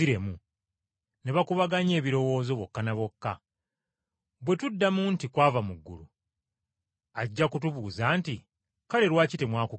Ne bakubaganya ebirowoozo bokka na bokka nti, “Bwe tuddamu nti, ‘Kwava mu ggulu,’ ajja kutubuuza nti, ‘Kale, lwaki temwamukkiriza?’